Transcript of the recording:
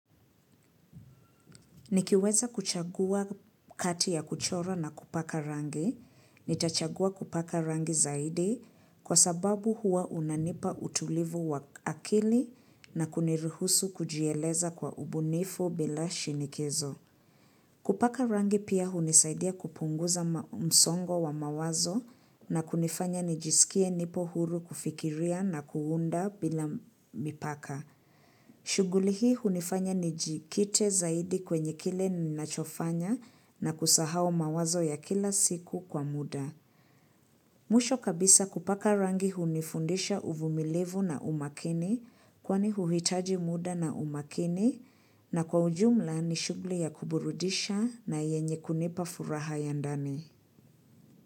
Nikiweza kuchagua kati ya kuchora na kupaka rangi, nitachagua kupaka rangi zaidi kwa sababu hua unanipa utulivu wa akili na kuniruhusu kujieleza kwa ubunifu bila shinikizo. Kupaka rangi pia hunisaidia kupunguza msongo wa mawazo na kunifanya nijisikie nipo huru kufikiria na kuunda bila mipaka. Shuguli hii hunifanya nijikite zaidi kwenye kile ninachofanya na kusahau mawazo ya kila siku kwa muda. Mwisho kabisa kupaka rangi hunifundisha uvumilivu na umakini kwani huhitaji muda na umakini na kwa ujumla ni shuguli ya kuburudisha na yenye kunipa furaha ya ndani.